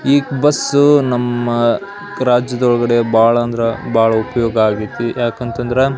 ಈ ಬಸ್ಸು ನಮ್ಮ ರಾಜ್ಯದೊಳಗಡೆ ಬಹಳ ಉಪಯೋಗ ಆಗೈತಿ ಯಾಕ ಅಂತಂದ್ರ --